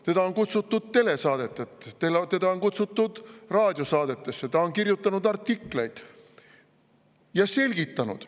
Teda on kutsutud telesaadetesse, teda on kutsutud raadiosaadetesse, ta on kirjutanud artikleid ja selgitanud.